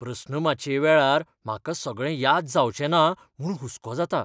प्रस्नमाचये वेळार म्हाका सगळें याद जावचें ना म्हूण हुस्को जाता.